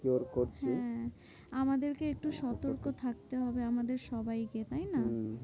হ্যাঁ আমাদেরকে একটু সতর্ক থাকতে হবে আমাদের সবাই কে তাই না? হম